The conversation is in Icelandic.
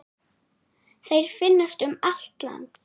Þeir finnast um allt land.